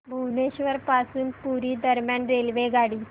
भुवनेश्वर पासून पुरी दरम्यान रेल्वेगाडी